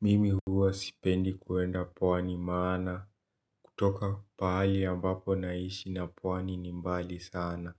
Mimi huwa sipendi kuenda pwani maana kutoka paali ambapo naishi na pwani ni mbali sana